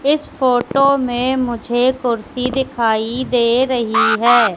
इस फोटो में मुझे कुर्सी दिखाई दे रही है।